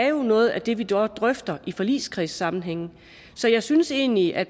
jo er noget af det vi drøfter i forligskredssammenhænge så jeg synes egentlig at